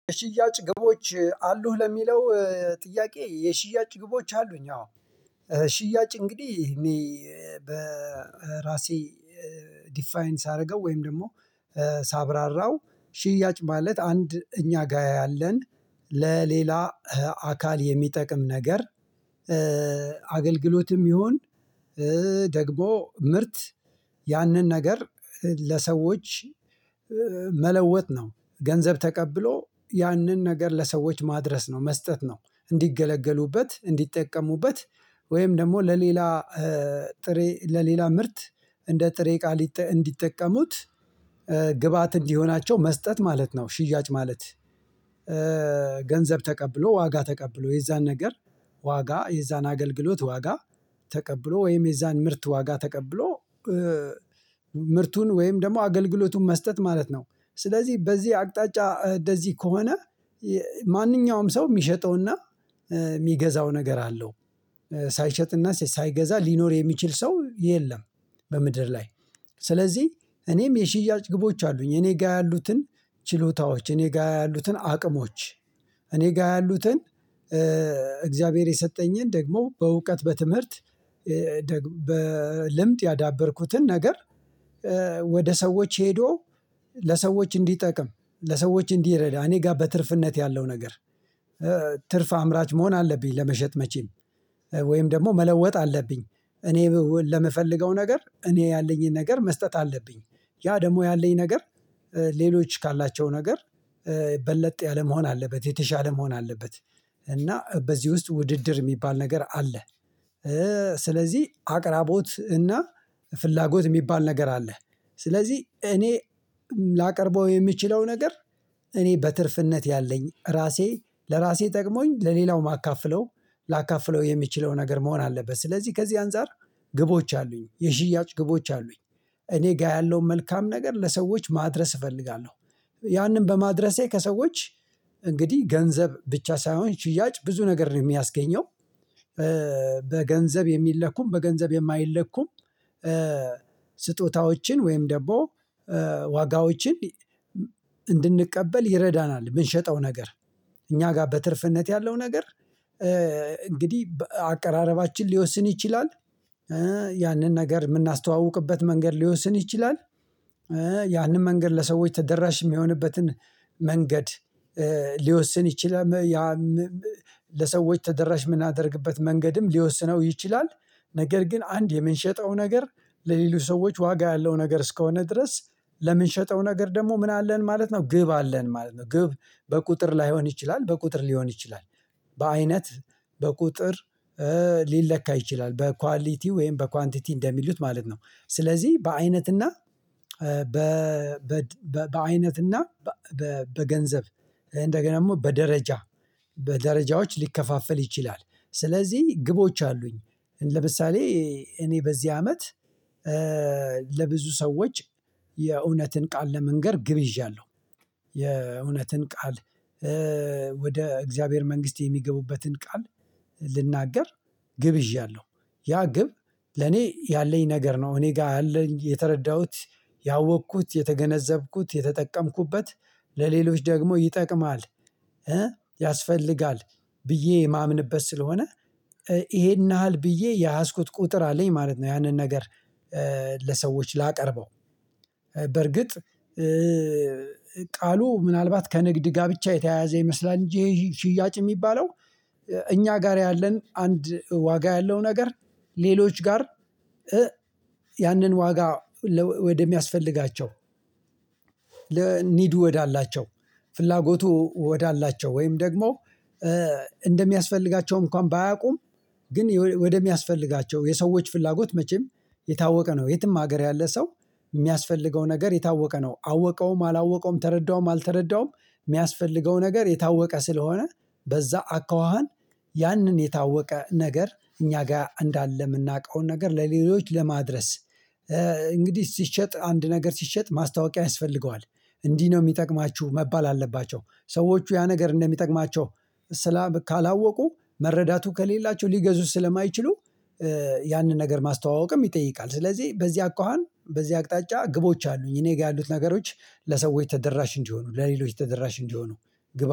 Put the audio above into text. ሽያጭ ግቦች አሉህ ለሚለው ጥያቄ የሽያጭ ግቦች አሉኝ አዎ። ሽያጭ እንግዲህ እኔ በራሴ ዲፋይን ሳደርገው ወይም ደግሞ ሳብራራው ሽያጭ ማለት አንድ እኛ ጋ ያለን ለሌላ አካል የሚጠቅም ነገር። አገልግሎትም ይሁን ደግሞ ምርት ያንን ነገር ለሰዎች መለወጥ ነው ገንዘብ ተቀብሎ ያንን ነገር ለሰዎች ማድረስ ነው መስጠት ነው እንዲገለገሉበት እንዲጠቀሙበት ወይም ደግሞ ለሌላ ጥሬ ለሌላ ምርት እንደ ጥሬ ቃል እንዲጠቀሙት ግብአት እንዲሆናቸው መስጠት ማለት ነው። ሽያጭ ማለት ገንዘብ ተቀብሎ ዋጋ ተቀብሎ የዛን ነገር ዋጋ የዛን አገልግሎት ዋጋ ተቀብሎ ወይም የዛን ምርት ዋጋ ተቀብሎ ምርቱን ወይም ደግሞ አገልግሎቱን መስጠት ማለት ነው። ስለዚህ በዚህ አቅጣጫ እንደዚህ ከሆነ ማነኛውም ሰው የሚሸጠውና የሚገዛው ነገር አለው ሳይሸጥና ሳይገዛ ሊኖር የሚችል ሰው የለም። በምድር ላይ ስለዚህ እኔም የሽያጭ ግቦች አሉኝ እኔ ጋር ያሉትን ችሎታዎች እኔ ጋር ያሉትን አቅሞች እኔ ጋር ያሉትን እግዚአብሔር የሰጠኝን ደግሞ በእውቀት በትምህርት በልምድ ያዳበርኩትን ነገር። ወደ ሰዎች ሄዶ ለሰዎች እንዲጠቅም ለሰዎች እንዲረዳ እኔ ጋር በትርፍነት ያለው ነገር። ትርፍ አምራች መሆን አለብኝ ለመሸጥ መቼም ወይም ደግሞ መለወጥ አለብኝ እኔ ለምፈልገው ነገር እኔ ያለኝን ነገር መስጠት አለብኝ ያ ደግሞ ያለኝ ነገር ሌሎች ካላቸው ነገር በለጥ ያለ መሆን አለበት የተሻለ መሆን አለበት። እና በዚህ ውስጥ ውድድር የሚባል ነገር አለ። ስለዚህ አቅራቦት እና ፍላጎት የሚባል ነገር አለ። ስለዚህ እኔ ላቀርበው የምችለው ነገር እኔ በትርፍነት ያለኝ ራሴ ለራሴ ጠቅሞኝ ለሌላው ማካፍለው ላካፍለው የሚችለው ነገር መሆን አለበት። ስለዚህ ከዚህ አንፃር ግቦች አሉኝ የሽያጭ ግቦች አሉኝ። እኔ ጋር ያለውን መልካም ነገር ለሰዎች ማድረስ እፈልጋለሁ ያንን በማድረሴ ከሰዎች እንግዲህ ገንዘብ ብቻ ሳይሆን ሽያጭ ብዙ ነገር ነው የሚያስገኘው። በገንዘብ የሚለኩም በገንዘብ የማይለኩም ስጦታዎችን ወይም ደግሞ ዋጋዎችን እንድንቀበል ይረዳናል የምንሸጠው ነገር እኛ ጋር በትርፍነት ያለው ነገር እንግዲህ አቀራረባችን ሊወስን ይችላል። ያንን ነገር የምናስተዋውቅበት መንገድ ሊወስን ይችላል። ያንን መንገድ ለሰዎች ተደራሽ የሚሆንበትን መንገድ ሊወስን ይችላል። ያም ለሰዎች ተደራሽ የምናደርግበት መንገድም ሊወስነው ይችላል። ነገር ግን አንድ የምንሸጠው ነገር ለሌች ሰዎች ዋጋ ያለው ነገር እስከሆነ ድረስ ለምንሸጠው ነገር ደግሞ ምን አለን ማለት ነው ግብ አለን ማለት ነው። ግብ በቁጥር ላይሆን ይችላል በቁጥር ሊሆን ይችላል በአይነት በቁጥር ሊለካ ይችላል በኳሊቲ ወይም በኳንቲቲ እንደሚሉት ማለት ነው። ስለዚህ በአይነትና በአይነትና በገንዘብ እንደገና ደግሞ በደረጃ በደረጃዎች ሊከፋፈል ይችላል። ስለዚህ ግቦች አሉኝ ለምሳሌ እኔ በዚህ አመት ለብዙ ሰዎች የእውነትን ቃል ለመንገር ግብ ይዣለሁ። የእውነትን ቃል ወደ እግዚአብሔር መንግስት የሚገቡበትን ቃል ልናገር ግብ ይዣለሁ። ያ ግብ ለኔ ያለኝ ነገር ነው እኔ ጋር ያለኝ የተረዳሁት ያወቅኩት የተገነዘብኩት የተጠቀምኩበት ለሌሎች ደግሞ ይጠቅማል። ያስፈልጋል ብዬ የማምንበት ስለሆነ ይሄን ያህል ብዬ የያስኩት ቁጥር አለኝ ማለት ነው። ያንን ነገር ለሰዎች ላቀርበው በርግጥ ቃሉ ምናልባት ከንግድ ጋብቻ የተያያዘ ይመስላል። እንጂ ይሄ ሽያጭ የሚባለው እኛ ጋር ያለን አንድ ዋጋ ያለው ነገር። ሌሎች ጋር ያንን ዋጋ ወደሚያስፈልጋቸው ለ ኒዱ ወዳላቸው ፍላጎቱ ወዳላቸው ወይም ደግሞ እንደሚያስፈልጋቸው እንኳን ባያውቁም ግን ወደሚያስፈልጋቸው የሰዎች ፍላጎት መቼም የታወቀ ነው። የትም ሀገር ያለ ሰው የሚያስፈልገው ነገር የታወቀ ነው አወቀውም አላወቀውም ተረዳውም አልተረዳውም የሚያስፈልገው ነገር የታወቀ ስለሆነ። በዛ አካዋሃን ያንን የታወቀ ነገር እኛ ጋር እንዳለ የምናውቀውን ነገር ለሌሎች ለማድረስ። እንግዲህ ሲሸጥ አንድ ነገር ሲሸጥ ማስታወቂያ ያስፈልገዋል። እንዲህ ነው የሚጠቅማችሁ መባል አለባቸው ሰዎች ያ ነገር እንደሚጠቅማቸው። ካላወቁ መረዳቱ ከሌላቸው ሊገዙት ስለማይችሉ። ያንን ነገር ማስተዋወቅም ይጠይቃል። ስለዚህ በዚህ አኳሃን በዚህ አቅጣጫ ግቦች አሉኝ እኔ ጋር ያሉት ነገሮች ለሰዎች ተደራሽ እንዲሆኑ ለሌሎች ተደራሽ እንዲሆኑ። ግብ